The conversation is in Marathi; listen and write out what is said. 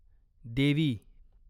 देवी